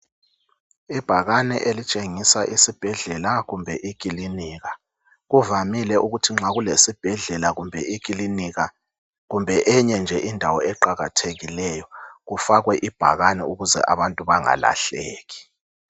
Ibhakani elitshengisa isibhedlela kumbe ikilinika kuvamile ukuthi nxa kulesibhedlela kumbe ikilinika kumbe enye nje indawo eqakathekileyo kufakwe ibhakane ukuze abantu bangalahleki